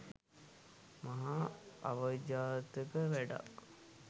මහා අවජාතක වැඩක්.